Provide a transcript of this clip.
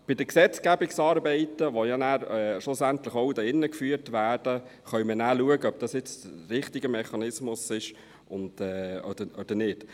Bei den Gesetzgebungsarbeiten, die ja nachher schlussendlich auch hier im Grossen Rat vorgenommen werden, können wir dann schauen, ob dies nun der richtige Mechanismus ist oder nicht.